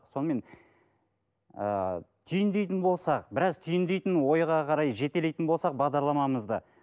сонымен ыыы түйіндейтін болсақ біраз түйіндейтін ойға қарай жетелейтін болсақ бағдарламамызды